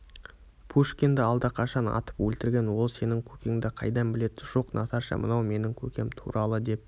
пушкинді алдақашан атып өлтірген ол сенің көкеңді қайдан білед жоқ наташа мынау менің көкем туралы деп